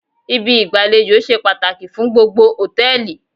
Ibi ìgbàlejò ṣe pàtàkì fún gbogbo hòtẹ́ẹ̀lì